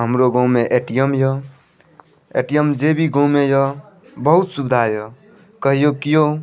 हमरो गांव में ए.टी.एम. य ए.टी.एम. जे भी गांव में य बहुत सुविधा य कहियो क्यों --